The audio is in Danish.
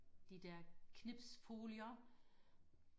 de der knipsfolier